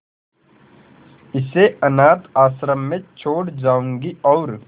इसे अनाथ आश्रम में छोड़ जाऊंगी और